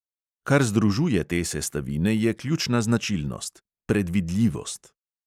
Kar združuje te sestavine, je ključna značilnost: predvidljivost.